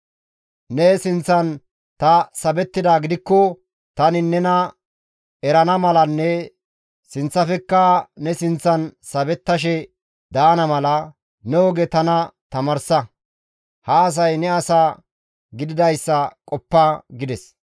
Ne sinththan ta sabettidaa gidikko tani nena erana malanne sinththafekka ne sinththan sabettashe daana mala, ne oge tana tamaarsa. Ha asay ne asa gididayssa qoppa» gides.